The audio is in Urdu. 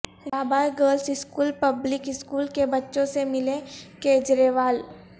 Rabia girls school public school کے بچوں سے ملے کیجریوال